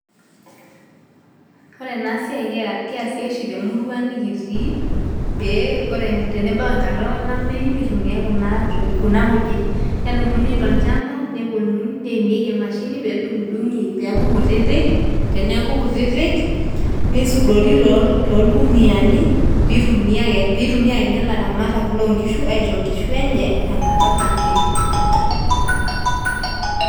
Ore ena siai naa keesi oshi temurua nikitii pee ore tenebau enkata olameyu nitumiai kuna kujit, kedumuni tolchamba neponunui neimieki emashini pee edung'i pee eeku nkutitik teneeku kutitik niaudori torkuniyiani pee itumia kenya ilaramatak loonkishu aisho aisho nkishu enye tenkata olameyu.